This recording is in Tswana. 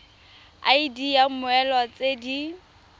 id ya mmoelwa tse di